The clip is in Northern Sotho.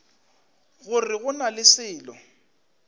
gore go na le selo